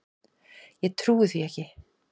Ég trúi því ekki!